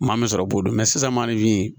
Maa min sɔrɔ b'o don sisan maa ni fin